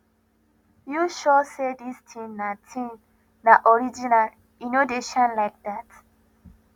you sure say this thing na thing na original e no dey shine like that